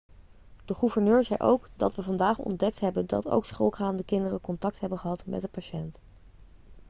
de gouverneur zei ook 'dat we vandaag ontdekt hebben dat ook schoolgaande kinderen contact hebben gehad met de patiënt.'